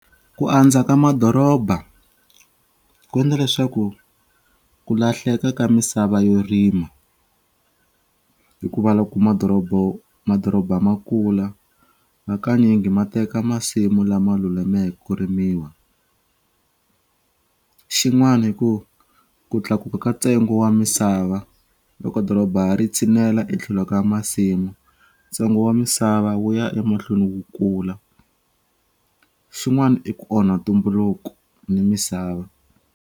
Ku andza ka madoroba ku ndla leswaku ku lahleka ka misava yo rima hikuva loko madorobo madoroba ma kula hakanyingi ma teka masimu lama lulameke ku rimiwa xin'wani i ku ku tlakuka ka tsengo wa misava loko doroba ri tshinela etlhelo ka masimu tsengo wa misava wu ya emahlweni wu kula xin'wana i ku onha tumbuluko ni misava.